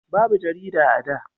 babu jarida a da